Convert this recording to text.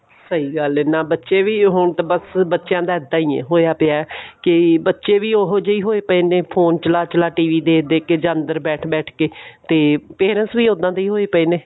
ਸਹੀ ਗੱਲ ਐ ਨਾ ਬੱਚੇ ਵੀ ਉਹ ਹੁਣ ਤਾਂ ਬਸ ਬੱਚਿਆ ਦਾ ਬਸ ਏਦਾਂ ਹੀ ਹੋਇਆ ਪਿਆ ਕਿ ਬੱਚੇ ਵੀ ਉਹੀ ਜਿਹੇ ਹੋਏ ਪਏ ਨੇ phone ਚਲਾ ਚਲਾ TV ਦੇਖ ਦੇਖ ਕੇ ਜਾਂ ਅੰਦਰ ਬੈਠ ਬੈਠ ਕੇ ਤੇ parents ਵੀ ਉੜਾਨ ਦੇ ਹੋਵੇ ਪਏ ਨੇ